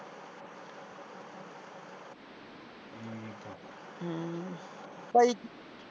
ਹਮ ਪਾਜੀ।